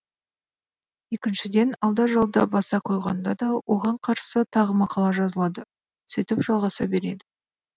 екіншіден алда жалда баса қойғанда да оған қарсы тағы мақала жазылады сөйтіп жалғаса береді